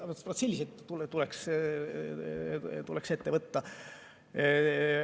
Selliseid tuleks ette võtta.